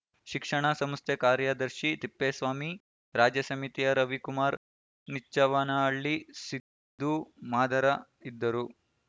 ಶಿಕ್ಷಣ ಸಂಸ್ಥೆ ಕಾರ್ಯದರ್ಶಿ ತಿಪ್ಪೇಸ್ವಾಮಿ ರಾಜ್ಯ ಸಮಿತಿಯ ರವಿಕುಮಾರ್‌ ನಿಚ್ಚವ್ವನಹಳ್ಳಿ ಸಿದ್ದು ಮಾದರ ಇದ್ದರು